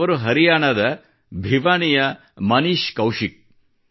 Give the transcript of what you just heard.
ಅವರು ಹರಿಯಾಣದ ಭಿವಾನಿಯ ಮನೀಷ್ ಕೌಶಿಕ್ ಅವರು